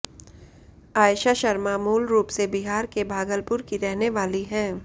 आयशा शर्मा मूल रूप से बिहार के भागलपुर की रहने वाली हैं